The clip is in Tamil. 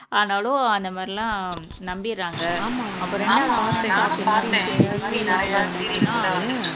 ஆனாலும் அந்த மாதிரிலாம் நம்பிடுறாங்க